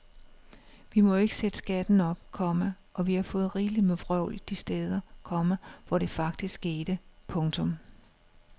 Vi må jo ikke sætte skatten op, komma og vi har fået rigeligt med vrøvl de steder, komma hvor det faktisk skete. punktum